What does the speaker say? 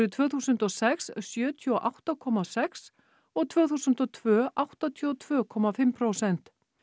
tvö þúsund og sex sjötíu og átta komma sex og tvö þúsund og tvö áttatíu og tvö komma fimm prósent